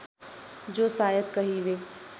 जो सायद कहिले